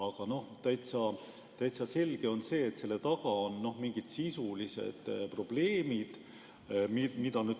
Aga täitsa selge on see, et selle taga on mingid sisulised probleemid.